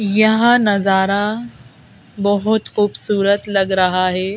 यह नजारा बहोत खूबसूरत लग रहा हे।